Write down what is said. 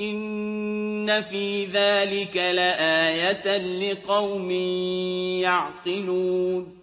إِنَّ فِي ذَٰلِكَ لَآيَةً لِّقَوْمٍ يَعْقِلُونَ